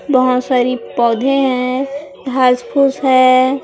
बहोत सारी पौधे हैं घास फूस है।